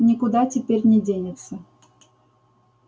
никуда теперь не денется